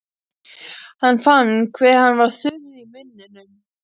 Hann fann hve hann var þurr í munninum.